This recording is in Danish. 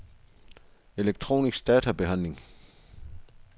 elektronisk databehandling